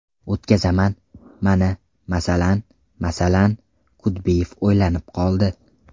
O‘tkazaman, mana, masalan, masalan… Kudbiyev o‘ylanib qoldi.